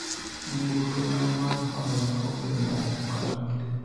nyamburko na mar hola onge moo kata matin